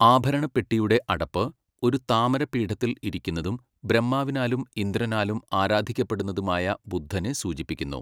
ആഭരണ പെട്ടിയുടെ അടപ്പ്, ഒരു താമര പീഠത്തിൽ ഇരിക്കുന്നതും ബ്രഹ്മാവിനാലും ഇന്ദ്രനാലും ആരാധിക്കപെടുന്നതുമായ ബുദ്ധനെ സൂചിപ്പിക്കുന്നു.